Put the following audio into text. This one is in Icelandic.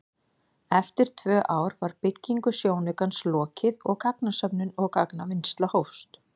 Eftir tvö ár var byggingu sjónaukans lokið og gagnasöfnun og gagnavinnsla hófst.